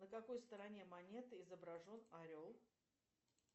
на какой стороне монеты изображен орел